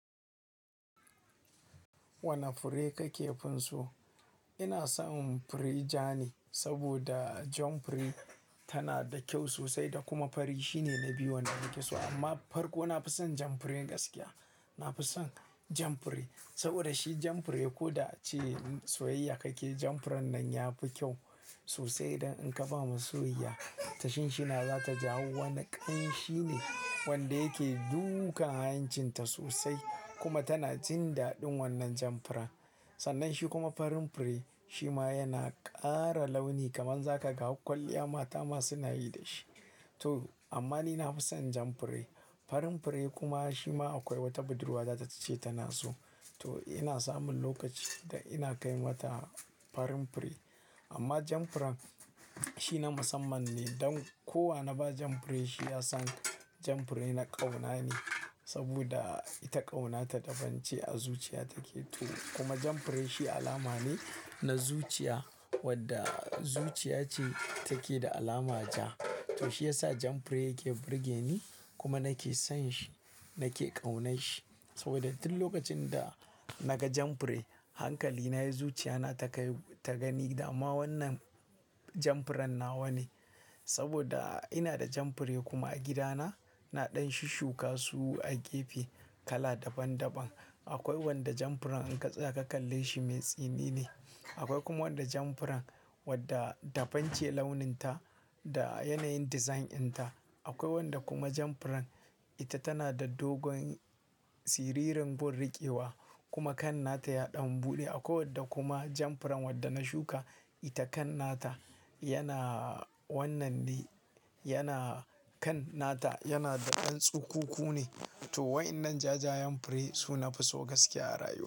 Wane fure ka kefin so? Ina son fure ja ne saboda jan fure tana da kyau sosai da kuma fari shine na biyu wanda nake so amma farko nafi son jan fure gaskiya. Nafi son jan fure saboda shi jan fure ko da ci soyayya kake jan furen nan yafi kyau sosai. Dan in ka ba masoya tashin shi na za ta jawo. Wani ƙan shine wanda yake duka hanya cin ta sosai kuma tana jin daɗin wannan jan furen. Sannan shi kuma farin fure shi ma yana ƙara launi kaman za ka ga kwalliya mata ma suna yi da shi. To amma ni nafi son jan fure. Farin fure kuma shi ma akwai wata budurwa za ta ce tana so. To ina samun lokaci da ina kai mata farin fure amma jan furen shi na musamman ne don kowa na ba jan fure shi ya san jan fure na ƙauna ne saboda ita ƙaunata daban ce a zuciya take. To kuma jan fure shi alama ne na zuciya wadda zuciya ce take da alama ja. To shi yasa jan fure yake burge ni kuma nake son shi nake ƙaunar shi saboda duk lokacin da naga jan fure hankali na ya zuciya na take ta gani. Amma wannan jan furen nawa ne saboda ina da jan fure kuma a gidana na ɗan shi shuka su a gefe kala daban daban. Akwai wanda jan furen in ka tsaya ka kalle shi mai tsini ne. Akwai kuma wanda jan furen wadda dabam ce launin ta da yanayin design ɗin ta. Akwai wanda kuma jan furen ita tana da dogon siririn gunriƙewa kuma kan na ta yaɗan buɗe. Akwai wadda kuma jan furen wadda na shuka ita kan na ta yana wannan ne yana kan nata yana da ɗan tsukuku ne. To waɗannan jajayen fure su nafi so gaskiya a rayuwa.